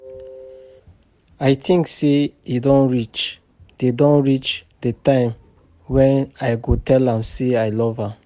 I think say e don reach the don reach the time wen I go tell am say I love am